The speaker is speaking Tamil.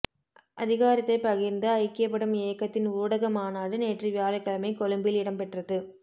அதிகாரத்தை பகிர்ந்து ஐக்கியப்படும் இயக்கத்தின் ஊடக மாநாடு நேற்று வியாழக்கிழமை கொழும்பில் இடம்பெற்றது